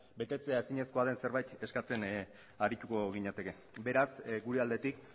betetzea ezinezkoa den zerbait eskatzen arituko ginateke beraz gure aldetik